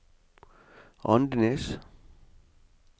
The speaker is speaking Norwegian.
Andenes